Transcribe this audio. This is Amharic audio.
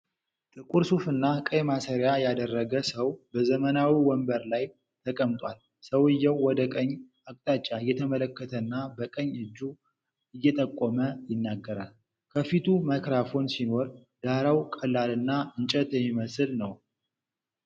ጥቁር ሱፍና ቀይ ማሰሪያ ያደረገ ሰው በዘመናዊ ወንበር ላይ ተቀምጧል። ሰውዬው ወደ ቀኝ አቅጣጫ እየተመለከተና በቀኝ እጁ እየጠቆመ ይናገራል። ከፊቱ ማይክሮፎን ሲኖር፣ ዳራው ቀላልና እንጨት የሚመስል ነው።